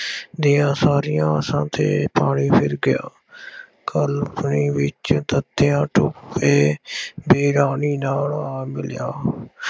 ਦੀਆਂ ਸਾਰੀਆਂ ਆਸਾਂ ਤੇ ਪਾਣੀ ਫਿਰ ਗਿਆ। ਖਲਵੜੀ ਵਿੱਚ ਤਾਂਤੀਆ ਟੋਪੇ ਵੀ ਰਾਣੀ ਨਾਲ ਆ ਮਿਲਿਆ,